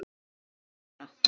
Hver er staðan núna?